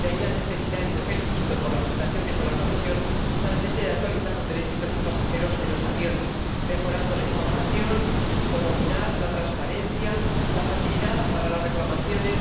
de ahí la necesidad —y me felicito por la presentación que ha hecho la Comisión— de actualizar los derechos de los pasajeros de los aviones mejorando la información, su comodidad, la transparencia, la facilidad para las reclamaciones.